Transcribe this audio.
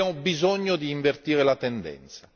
Abbiamo bisogno di invertire la tendenza!